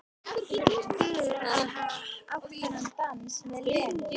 Fyrir að hafa átt þennan dans með Lenu.